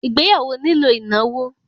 Ìgbéyàwó nílò ìnáwó